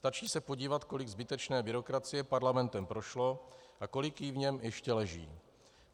Stačí se podívat, kolik zbytečné byrokracie parlamentem prošlo a kolik jí v něm ještě leží.